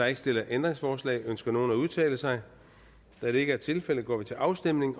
ikke stillet ændringsforslag ønsker nogen at udtale sig da det ikke er tilfældet går vi til afstemning